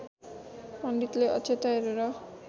पण्डितले अक्षता हेरेर